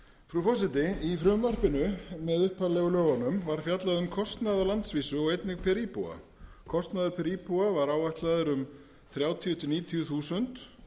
frú forseti í frumvarpinu með upphaflegu lögunum var fjallað um kostnað á landsvísu og einnig per íbúa kostnaður per íbúa var áætlaður um þrjátíu til níutíu þúsund